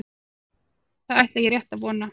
Það ætla ég rétt að vona.